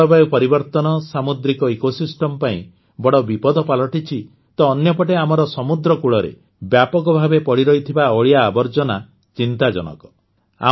ଜଳବାୟୁ ପରିବର୍ତ୍ତନ ସାମୁଦ୍ରିକ ଇକୋସିଷ୍ଟମ୍ ପାଇଁ ବଡ଼ ବିପଦ ପାଲଟିଛି ତ ଅନ୍ୟପଟେ ଆମର ସମୁଦ୍ରକୂଳରେ ବ୍ୟାପକଭାବେ ପଡ଼ିରହିଥିବା ଅଳିଆ ଆବର୍ଜନା ଚିନ୍ତାଜନକ